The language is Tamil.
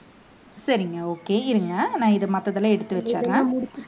சரிங்க okay இருங்க நான் இதை மத்ததெல்லாம் எடுத்து வச்சிடறேன்